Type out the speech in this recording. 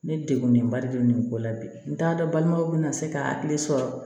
Ne degunnenba de don nin ko la bi n t'a dɔn balimaw bɛna se ka hakili sɔrɔ